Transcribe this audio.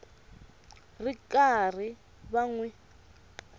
ri karhi va n wi